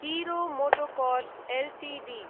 हिरो MotoCorp Ltd